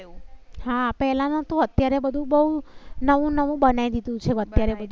હા પેલા નો તો અત્યારે બધું બવ નવું નવું બનાવી દીધું છે. અત્યારે.